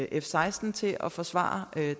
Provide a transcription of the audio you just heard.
f seksten til at forsvare